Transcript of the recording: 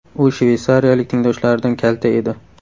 U shveysariyalik tengdoshlaridan kalta edi.